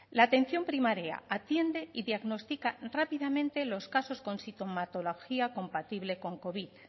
la atención primaria atiende y diagnostica rápidamente los casos con sintomatología compatible con covid